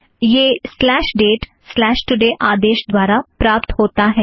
यह slash date slash today dateतोड़े आदेश द्वारा प्राप्त होता है